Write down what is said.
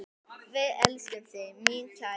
Við elskum þig, mín kæra.